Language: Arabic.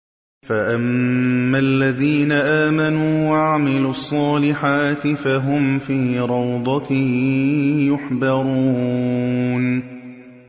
فَأَمَّا الَّذِينَ آمَنُوا وَعَمِلُوا الصَّالِحَاتِ فَهُمْ فِي رَوْضَةٍ يُحْبَرُونَ